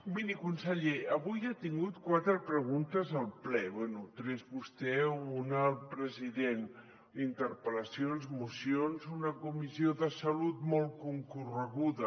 miri conseller avui ha tingut quatre preguntes al ple bé tres vostè una el president interpel·lacions mocions una comissió de salut molt concorreguda